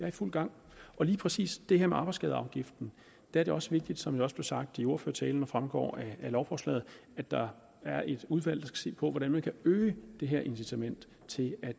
i fuld gang og lige præcis det her med arbejdsskadeafgiften er det også vigtigt som det også blev sagt i ordførertalen og fremgår af lovforslaget at der er et udvalg se på hvordan man kan øge det her incitament til at